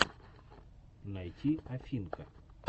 найти афинка